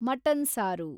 mutton ಸಾರು